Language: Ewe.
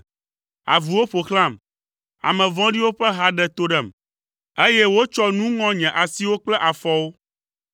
Avuwo ƒo xlãm, ame vɔ̃ɖiwo ƒe ha ɖe to ɖem, eye wotsɔ nu ŋɔ nye asiwo kple afɔwo.